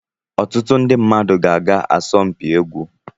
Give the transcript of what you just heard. Ọtụtụ ndị mmadụ ga-aga asọmpi egwu